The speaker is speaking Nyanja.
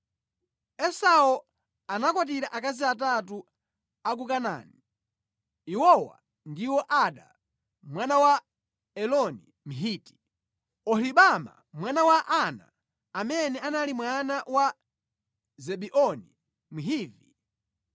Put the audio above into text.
Esau anakwatira akazi atatu a ku Kanaani. Iwowa ndiwo Ada mwana wa Eloni Mhiti; Oholibama mwana wa Ana amene anali mwana wa Zibeoni Mhivi